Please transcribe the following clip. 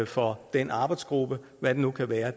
for den arbejdsgruppe hvad det nu kan være